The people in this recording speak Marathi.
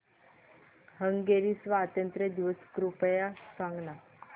हंगेरी स्वातंत्र्य दिवस कृपया सांग ना